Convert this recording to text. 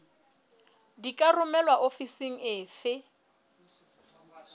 di ka romelwa ofising efe